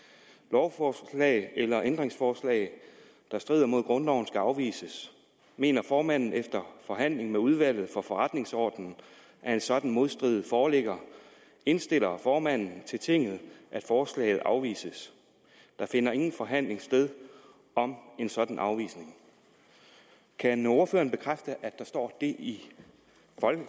lovforslag eller ændringsforslag der strider mod grundloven skal afvises mener formanden efter forhandling med udvalget for forretningsordenen at en sådan modstrid foreligger indstiller formanden til tinget at forslaget afvises der finder ingen forhandling sted om en sådan afvisning kan ordføreren bekræfte at der står det i